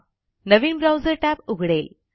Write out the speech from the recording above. नवीन browser tab उघडेल